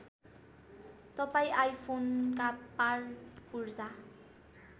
तपाईँं आईफोनका पार्टपुर्जा